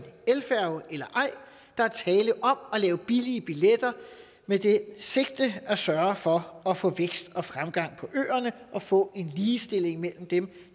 elfærge eller ej der er tale om at lave billige billetter med det sigte at sørge for at få vækst og fremgang på øerne og få en ligestilling mellem dem